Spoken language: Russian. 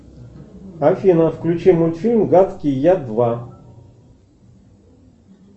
афина включи мультфильм гадкий я два